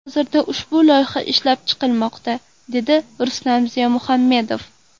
Hozirda ushbu loyiha ishlab chiqilmoqda”, dedi Rustam Ziyomuhammedov.